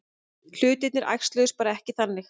Hlutirnir æxluðust bara ekki þannig.